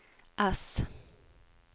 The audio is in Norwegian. ess